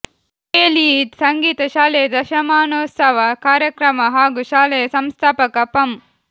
K L E ಸಂಗೀತ ಶಾಲೆಯ ದಶಮಾನೋತ್ಸವ ಕಾರ್ಯಕ್ರಮ ಹಾಗೂ ಶಾಲೆಯ ಸಂಸ್ಥಾಪಕ ಪಂ